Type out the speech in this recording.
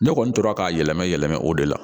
Ne kɔni tora ka yɛlɛma yɛlɛmɛ o de la